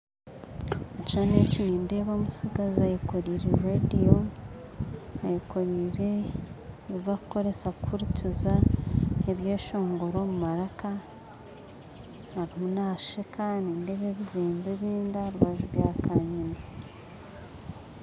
Omukishushani nindeeba omutsigazi eyekorire rediyo, ayekorire ebi barikukozesa kuhurikiza ebyeshongoro omu maraka, ariyo naasheka, nindeeba ebyombeko ebindi aharubaju bya kanyina.